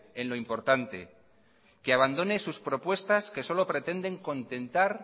en lo importante que abandone sus propuestas que solo pretenden contentar